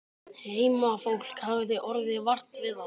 Heimafólk hafði orðið vart við þá.